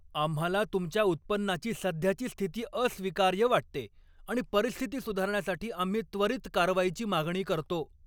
आम्हाला तुमच्या उत्पन्नाची सध्याची स्थिती अस्वीकार्य वाटते आणि परिस्थिती सुधारण्यासाठी आम्ही त्वरीत कारवाईची मागणी करतो.